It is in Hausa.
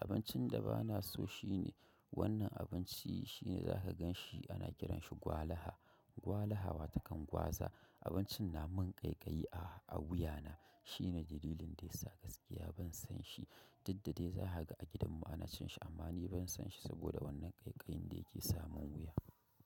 Abincin da ba na so shine; wannan abinci ne za ka gan shi ana kiran shi Gwalaha. Gwalaha, wata kan gwaza abincin na mun ƙaiƙayi a wuya na. Shine dalilin da ya sa gaskiya ban san shi. Duk da dai za ka ga a gidan mu ana cin shi amma ni ban san shi saboda wannan ƙaiƙayin da yake samun wuya.